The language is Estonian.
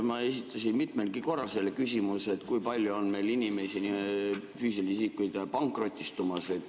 Ma esitasin mitmelgi korral selle küsimuse, kui palju on meil inimesi, füüsilisi isikuid pankrotistumas.